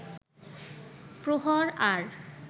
প্রহর আর